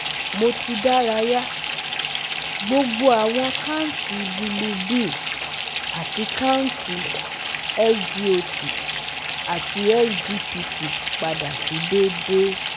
Mo ti daraya, gbogbo awọn kanti bilurbin ati kanti SGOT ati SGPT pada si deede